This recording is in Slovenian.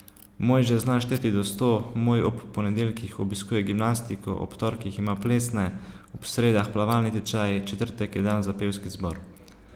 Moj že zna šteti do sto, moj ob ponedeljkih obiskuje gimnastiko, ob torkih ima plesne, ob sredah plavalni tečaj, četrtek je dan za pevski zbor.